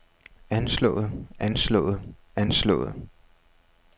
anslået anslået anslået